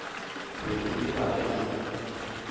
be e le gare e